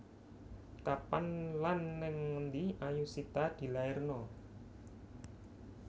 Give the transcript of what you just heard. Kapan lan nang endi Ayushita dilairno?